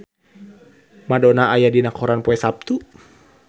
Madonna aya dina koran poe Saptu